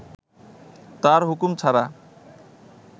তার হুকুম ছাড়া